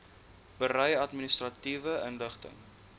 berei administratiewe inligting